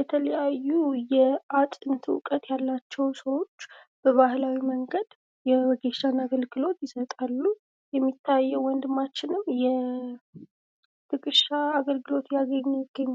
የተለያዩ የአጥንት እውቀት ያላቸው ሰዎች በባህላዊ መንገድ የወጊሻ አገልግሎት ይሰጣሉ ። የሚታየው ወንድማችንም የወጌሻ አገልግሎት እያገኘ ይገኛል ።